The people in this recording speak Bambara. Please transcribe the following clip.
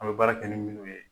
An bɛ baara kɛ ni minnu ye.